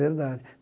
Verdade.